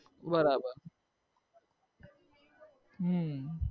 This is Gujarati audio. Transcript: બરાબર હમ